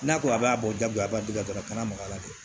N'a ko a b'a bɔ jagoya dɛ dɔ kana maka a la dɛ